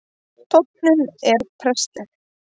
Tónninn er prestleg